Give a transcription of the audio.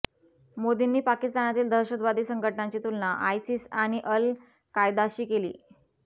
मोदींनी पाकिस्तानातील दहशतवादी संघटनांची तुलना आयसिस आणि अल कायदाशी केली